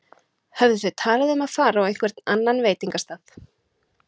Höfðu þau talað um að fara á einhvern annan veitingastað?